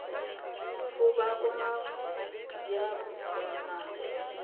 fo ba koma ya moswanano